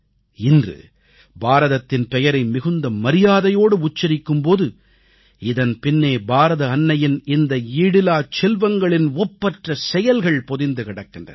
இன்று பாரதத்தின் பெயரை மிகுந்த மரியாதையோடு உச்சரிக்கும் போது இதன் பின்னே பாரத அன்னையின் இந்தக் ஈடிலாச் செல்வங்களின் ஒப்பற்ற செயல்கள் பொதிந்து கிடக்கின்றன